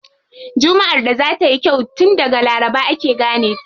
Jummaʼar da za tayi kyau tun daga laraba ake gane ta.